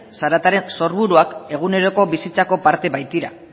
zarataren sorburuak eguneroko bizitzako parte baitira